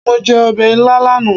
Mo jẹ ọbẹ̀ ilá lánàá.